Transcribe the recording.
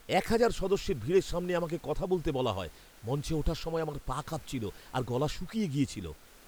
এক হাজার সদস্যের ভিড়ের সামনে আমাকে কথা বলতে বলা হয়। মঞ্চে ওঠার সময় আমার পা কাঁপছিল আর গলা শুকিয়ে গিয়েছিল।